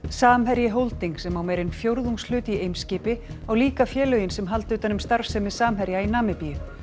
samherji Holding sem á meira en fjórðungshlut í Eimskipi á líka félögin sem halda utan um starfsemi Samherja í Namibíu